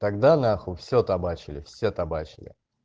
тогда на хуй все табачили все табачали